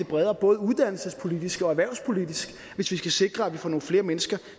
bredere både uddannelsespolitisk og erhvervspolitisk hvis vi skal sikre at vi får nogle flere mennesker